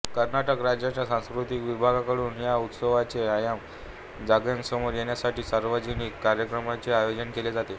कर्नाटक राज्याच्या सांस्कृतिक विभागाकडून या उत्सवाचे आयाम जगासमोर येण्यासाठी सार्वजनिक कार्यक्रमाचे आयोजन केले जाते